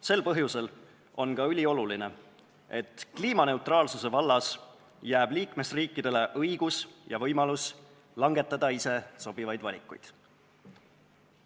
Sel põhjusel on ülioluline, et kliimaneutraalsuse vallas jääb liikmesriikidele õigus ja võimalus langetada ise sobivaid valikuid.